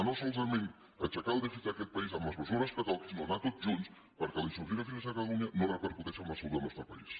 no solament aixecar el dèficit d’aquest país amb les mesures que toqui sinó anar tots junts perquè la insuficiència financera de catalunya no repercuteixi en la salut del nostre país